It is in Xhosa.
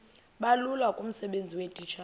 bulula kumsebenzi weetitshala